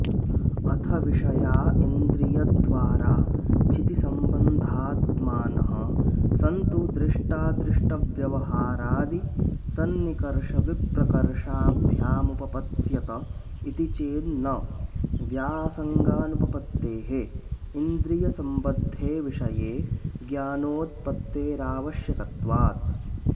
अथ विषया इन्द्रियद्वारा चितिसम्बद्धात्मानः सन्तु दृष्टादृष्टव्यवहारादि सन्निकर्षविप्रकर्षाभ्यामुपपत्स्यत इति चेन्न व्यासङ्गानुपपत्तेः इन्द्रियसम्बद्धे विषये ज्ञानोत्पत्तेरावश्यकत्वात्